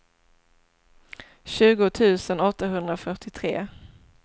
tjugo tusen åttahundrafyrtiotre